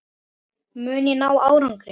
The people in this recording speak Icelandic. Mun ég ná árangri?